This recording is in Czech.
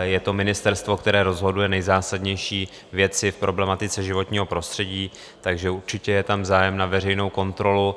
je to ministerstvo, které rozhoduje nejzásadnější věci v problematice životního prostředí, takže určitě je tam zájem na veřejné kontrole.